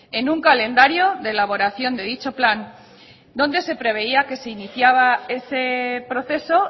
en un calendario de elaboración de dicho plan donde se preveía que se iniciaba ese proceso